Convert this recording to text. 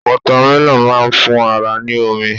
Wọ́támẹlọ̀n má ń fún ara ní omi